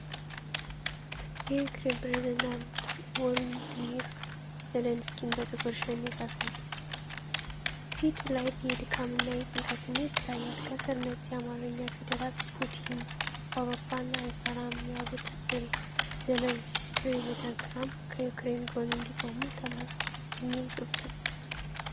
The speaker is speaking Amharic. የዩክሬኑ ፕሬዝዳንት ቮልዲሚር ዘለንስኪን በጥቁር ሸሚዝ አሳይቷል። ፊቱ ላይ የድካም እና የጭንቀት ስሜት ይታያል። ከስር ነጭ የአማርኛ ፊደላት “ ፑቲን አውሮፓን አይፈራም ያሉት ዘነስኪ ፕሬዚዳንት ትራምፕ ከዩክሬን ጎን እንዲቆሙ ተማጸኑ” የሚል ጽሑፍ ተቀምጧል።